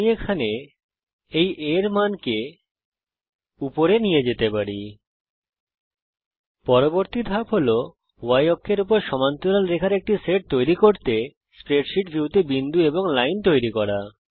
আমি এখানে এই A এর মানকে উপরে নিয়ে যেতে পারি পরবর্তী ধাপ হল Y অক্ষের উপর সমান্তরাল রেখার একটি সেট তৈরী করার জন্য স্প্রেডশীট ভিউতে বিন্দু এবং লাইন তৈরি করা